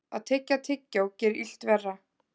Að tyggja tyggjó gerir illt verra.